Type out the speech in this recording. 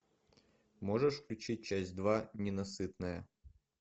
можешь включить часть два ненасытная